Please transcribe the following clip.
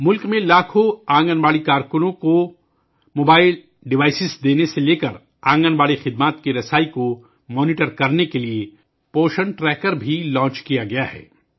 ملک میں لاکھوں آنگن واڑی کارکنوں کو موبائل آلات دینے سے لے کر آنگن واڑی خدمات کی رسائی کی نگرانی تک، پوشن ٹریکر بھی شروع کیا گیا ہے